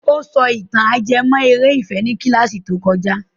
Ó sọ ìtàn ajẹmọ́ eré ìfẹ́ ní kílàsì tó kojá.